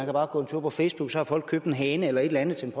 bare gå en tur på facebook så har folk købt en hane eller et eller andet til